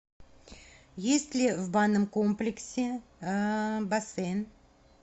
есть ли в банном комплексе бассейн